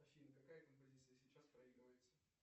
афина какая композиция сейчас проигрывается